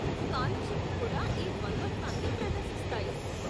స్కాలర్షిప్లు కూడా ఈ ద్వంద్వత్వాన్ని ప్రదర్శిస్తాయి.